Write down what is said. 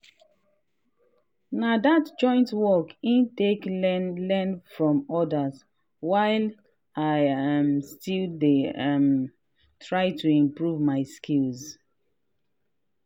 na that joint work in take learn learn from others while i um still dey um try to improve my skills. um